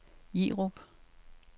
Jerup